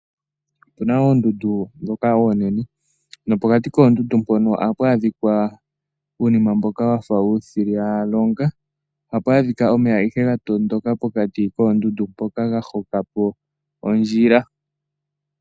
Opuna oondundu dhoka oonene, nopokati koondundu mpono ohapu adhika uunima mboka wafa uushilila longa. Ohapu adhika omeya ihe gatondoka pokati koondundu mpoka ha hokapo ondjila.